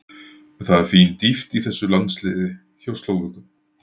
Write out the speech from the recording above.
Það er fín dýpt í þessum landsliði hjá Slóvökum.